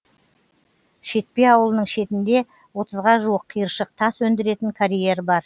шетпе ауылының шетінде отызға жуық қиыршық тас өндіретін карьер бар